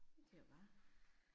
Vi kører bare